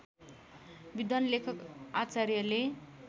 विद्वान् लेखक आचार्यले